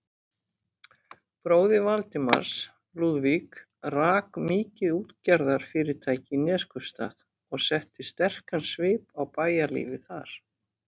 Bróðir Valdimars, Lúðvík, rak mikið útgerðarfyrirtæki í Neskaupsstað og setti sterkan svip á bæjarlífið þar.